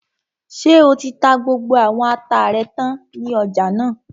Ṣé o ti ta gbogbo àwọn ata rẹ tán ní ọjà náà?